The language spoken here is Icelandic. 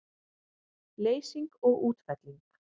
Leysing og útfelling